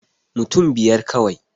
Mutun biyar kawai